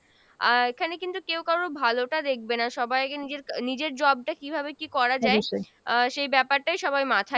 আহ এখানে কিন্তু কেও কারুর ভালোটা দেখবে না সবাইকে নিজের আহ নিজের job টা কীভাবে কী করা যাই আহ সেই ব্যাপারটাই সবাই মাথায়